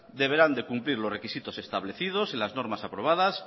deberán de cumplir los requisitos establecidos en las normas aprobados